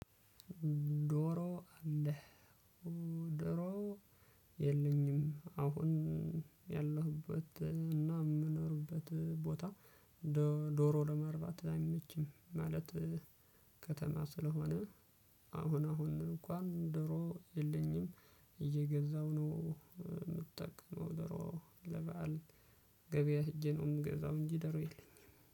ዶሮ አለህ ዶሮ የለኝም። አሁን ያለሁበት እና ምኖርበት ቦታ ዶሮ ለማርባት አይመችም ማለት። ከተማ ስለሆነ አሁን አሁን እንኳን ዶሮ የለኝም። እየገዛው ነው ምጠቀመው ዶሮ ለበአል ገበያ ሄጄ ነው ምገዛው። እንጂ ዶሮ የለኝም